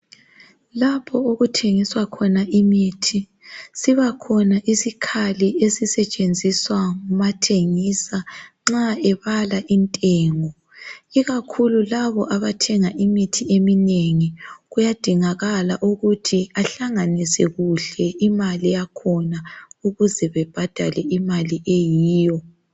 Lapho okuthengiswa khona imithi sibakhona isikhali esisetshenziswa ngumathengisa nxa ebala intengo ikakhulu laba abathenga imithi eminengi kuyadingakala ukuthi ahlanganise kuhle imali yakhona ukuze bebhadale imali eyiyo.